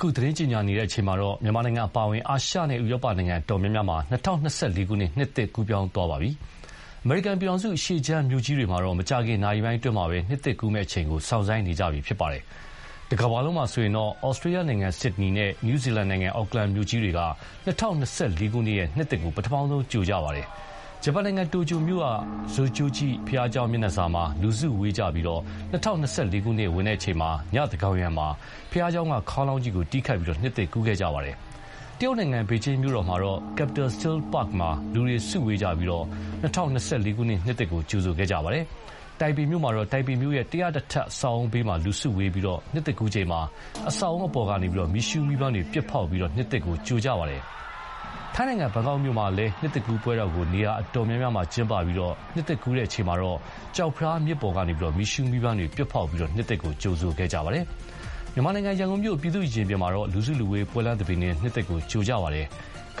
ခု သတင်းကြေညာတဲ့အချိန်မှာတော့ မြန်မာနိုင်ငံအပါအဝင် အာရှနဲ့ ဥရောပနိုင်ငံအတော်များများမှာ ၂၀၂၄ ခုနှစ် နှစ်သစ်ကို ကူးပြောင်းသွားပါပြီ။ အမေရိကန်ပြည်ထောင်စု အရှေ့ခြမ်းမြို့ကြီးတွေမှာတော့ မကြာခင်နာရီပိုင်းအတွင်း နှစ်သစ်ကူးမယ့်အချိန်ကို စောင့်ဆိုင်းနေကြပါပြီ။ တကမ္ဘာလုံးမှာဆိုရင် ဩစတြေးလျနိုင်ငံ Sydney နဲ့ နယူးဇီလန်နိုင်ငံ အော့ကလန်မြို့ကြီးတွေက ၂၀၂၄ ခုနှစ် နှစ်သစ်ကို ပထမဆုံး ကြိုခဲ့ကြပါတယ်။ ဂျပန်နိုင်ငံမှာလည်း တိုကျိုက Zojoji ဘုရားကျောင်းမျက်နှာစာမှာ လူစုဝေးကြပြီး ၂၀၂၄ ခုနှစ် ဝင်တဲ့အချိန် ညသန်းခေါင်ယံမှာ ဘုရားကျောင်းက ခေါင်းလောင်းကြီးကို တီးခတ်ပြီး နှစ်သစ်ကူးခဲ့ကြပါတယ်။ တရုတ်နိုင်ငံ ပေကျင်းမြို့တော်မှာတော့ Capital Steel Park မှာ လူတွေ စုဝေးပြီး ၂၀၂၄ ခုနှစ် နှစ်သစ်ကို ကြိုဆိုခဲ့ကြပါတယ်။ ထိုင်ပေမြို့မှာတော့ ထိုင်ပေမြို့ရဲ့ ၁၀၁ ထပ်အဆောက်အဦးဘေးမှာ လူစုဝေးပြီး နှစ်သစ်ကူးချိန်မှာ အဆောက်အဦးအပေါ်ကနေ မီးရှုးမီးပန်းတွေ ပစ်ဖောက်ပြီး နှစ်သစ်ကြိုခဲ့ကြပါတယ်။ ထိုင်းနိုင်ငံ ဘန်ကောက်မြို့မှာလည်း နှစ်သစ်ကူးပွဲတော်ကို နေရာအတော်များများကျင်းပပြီး နှစ်သစ်ကူးချိန်မှာတော့ ကျောက်ဖယားမြစ်ပေါ်ကနေ မီးရှူးမီးပန်း ပစ်ဖောက်ပြီး နှစ်သစ်ကို ကြိုဆိုကြပါတယ်။ မြန်မာနိုင်ငံ ရန်ကုန်မြို့ ပြည်သူ့ရင်ပြင်မှာ လူစုလူဝေး ပွဲလမ်းသဘင်နဲ့ နှစ်သစ်ကိုကြိုခဲ့ကြပါတယ်။